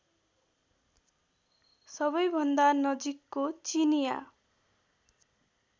सबैभन्दा नजिकको चिनिया